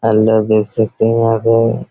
आप लोग देख सकते है यहाँ पे